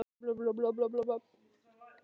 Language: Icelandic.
svarið er fólgið djúpt inni í stjörnunum